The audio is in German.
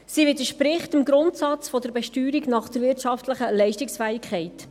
Sie widerspricht dem Grundsatz der Besteuerung nach wirtschaftlicher Leistungsfähigkeit.